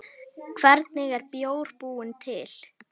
Hvernig er bjór búinn til?